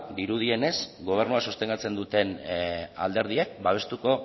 dirudienez gobernua sostengatzen duten alderdiek babestuko